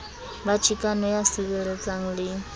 ba chikano ya sireletsang le